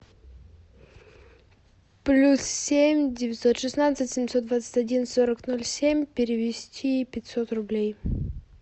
плюс семь девятьсот шестнадцать семьсот двадцать один сорок ноль семь перевести пятьсот рублей